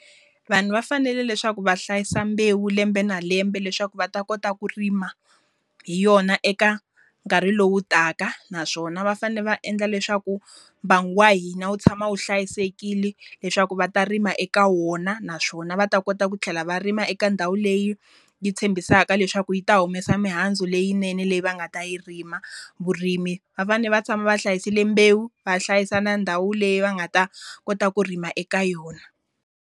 Vanhu va fanele leswaku va hlayisa mbewu lembe na lembe leswaku va ta kota ku rima hi yona eka nkarhi lowu taka. Naswona va fanele va endla leswaku mbangu wa hina wu tshama wu hlayisekile leswaku va ta rima eka wona. Naswona va ta kota ku tlhela va rima eka ndhawu leyi yi tshembisaka leswaku yi ta humesa mihandzu leyinene leyi va nga ta yi rima. Vurimi va fanele va tshama va hlayisile mbewu, va hlayisa na ndhawu leyi va nga ta kota ku rima eka yona.